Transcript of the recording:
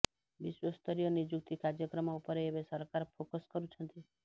ବିଶ୍ୱସ୍ତରୀୟ ନିଯୁକ୍ତି କାର୍ଯ୍ୟକ୍ରମ ଉପରେ ଏବେ ସରକାର ଫୋକସ କରୁଛନ୍ତି